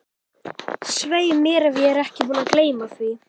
Svei mér ef ég er ekki búinn að gleyma því